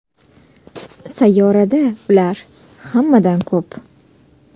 Sayyorada ular hammadan ko‘p.